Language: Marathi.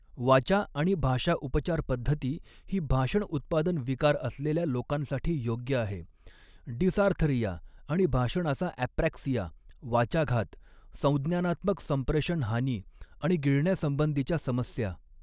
वाचा आणि भाषा उपचारपद्धती ही भाषण उत्पादन विकार असलेल्या लोकांसाठी योग्य आहे, डिसार्थरिया आणि भाषणाचा अॅप्रॅक्सिया, वाचाघात, संज्ञानात्मक संप्रेषण हानी आणि गिळण्यासंबंधीच्या समस्या.